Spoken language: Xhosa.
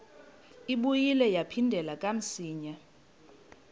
ibuye yaphindela kamsinya